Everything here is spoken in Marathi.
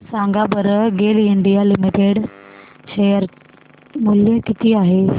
सांगा बरं गेल इंडिया लिमिटेड शेअर मूल्य किती आहे